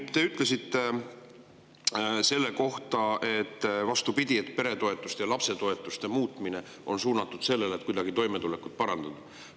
Te ütlesite selle kohta, et vastupidi, peretoetuste ja lapsetoetuste muutmine on suunatud sellele, et toimetulekut kuidagi parandada.